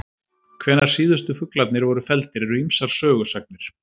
Hvenær síðustu fuglarnir voru felldir eru ýmsar sögusagnir.